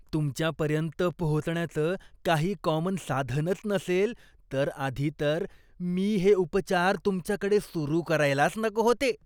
तुमच्यापर्यंत पोहोचण्याचं काही कॉमन साधनच नसेल, तर आधी तर मी हे उपचार तुमच्याकडे सुरु करायलाच नको होते.